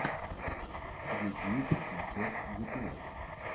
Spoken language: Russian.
ютьюб концерт гетлайт